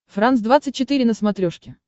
франс двадцать четыре на смотрешке